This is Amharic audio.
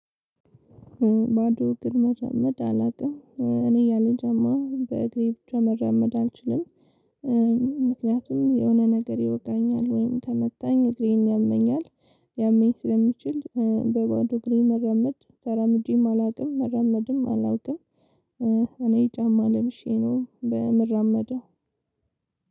ባዶ እግር መራመድ አላውቅም እኔ ያለ ጫማ በእግሬ ብቻ መራመድ አልችልም። ምክንያቱም የሆነ ነገር ይወጋኛል ወይም ከመታኝ እግሬን ያመኛል። ሊያመኝ ስለሚችል በባዶ እግሬ መራመድ ተራምጄም አላውቅም መራመድም አላውቅም። እኔ ጫማ ለብሼ ነው በምራመደው።